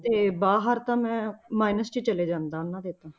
ਤੇ ਬਾਹਰ ਤਾਂ ਮੈਂ ਮ~ minus 'ਚ ਚਲਾ ਜਾਂਦਾ ਉਹਨਾਂ ਦੇ ਤਾਂ।